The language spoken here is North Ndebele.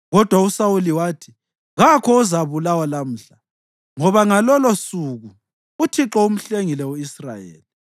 Kodwa uSawuli wathi, “Kakho ozabulawa lamhla, ngoba ngalolusuku uThixo umhlengile u-Israyeli.”